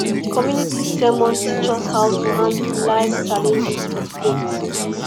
community sermon teach us how to handle lifes challenges with faith